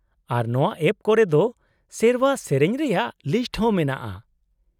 -ᱟᱨ ᱱᱚᱶᱟ ᱮᱯ ᱠᱚᱨᱮ ᱫᱚ ᱥᱮᱨᱶᱟ ᱥᱮᱹᱨᱮᱹᱧ ᱨᱮᱭᱟ ᱞᱤᱥᱴ ᱦᱚᱸ ᱢᱮᱱᱟᱜᱼᱟ ?